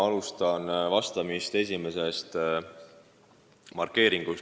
Ma alustan vastamist esimesest markeeritud teemast.